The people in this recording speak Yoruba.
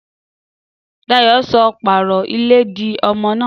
Dàyó só pàró ìlé dí ọmọ nà?